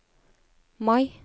Mai